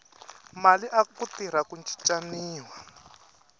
mali aku tirha ku cincaniwa